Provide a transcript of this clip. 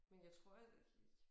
Men jeg tror at